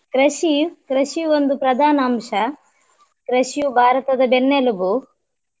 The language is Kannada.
ಕೃಷಿ . ಕೃಷಿ ಒಂದು ಪ್ರಧಾನ ಅಂಶ ಕೃಷಿಯು ಭಾರತದ ಬೆನ್ನೆಲುಬು.